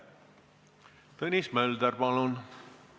Tõnis Mölder, palun!